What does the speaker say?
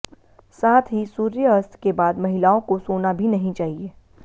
साथ ही सूर्यअस्त के बाद महिलाओं को सोना भी नहीं चाहिए